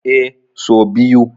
Eh, so biyu.